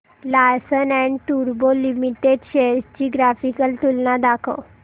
Larsen and टुर्बो limited shares ची graphical तुलना दाखव